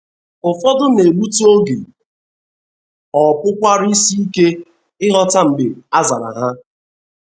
Ụfọdụ na - egbutụ oge, ọ pụkwara isi ike ịghọta mgbe a zara ha.